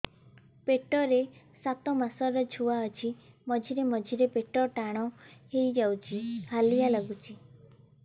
ପେଟ ରେ ସାତମାସର ଛୁଆ ଅଛି ମଝିରେ ମଝିରେ ପେଟ ଟାଣ ହେଇଯାଉଚି ହାଲିଆ ଲାଗୁଚି